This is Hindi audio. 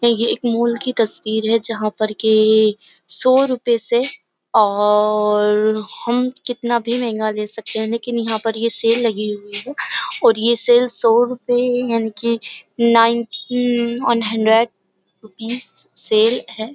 ये एक माल की तस्वीर है जहाँ पर के सौ रुपये से और हम कितना भी महंगा ले सकते हैं लेकिन यहाँ पर ये सेल लगी हुई है और ये सेल सौ रुपये यानी कि nine one hundred rupees sale है।